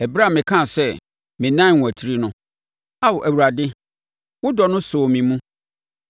Ɛberɛ a mekaa sɛ, “Menan rewatiri” no, Ao Awurade, wo dɔ no sɔɔ me mu.